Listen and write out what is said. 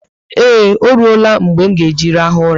Eee, oruela mgbe m nga eji rahu ụla